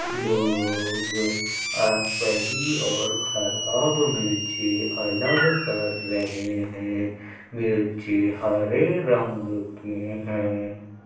लोग अ सही और खराब मिर्ची अलग कर रहे हैं मिर्ची हरे रंग की हैं।